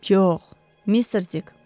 Yox, Mister Dikk.